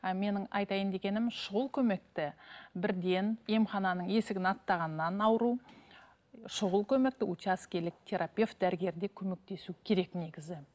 і менің айтайын дегенім шұғыл көмекті бірден емхананың есігін аттағаннан ауру щұғыл көмекті учаскелік терапевт дәрігерлер көмектесу керек негізі